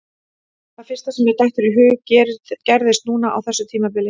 Það fyrsta sem mér dettur í hug gerðist núna á þessu tímabili.